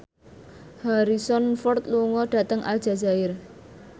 Harrison Ford lunga dhateng Aljazair